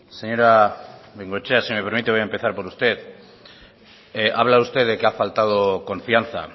señora bengoechea si me permite voy a empezar por usted ha hablado usted de que ha faltado confianza